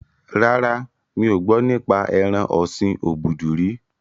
Rárá, mi ò gbọ́ nípa ẹran ọ̀sin obudu rí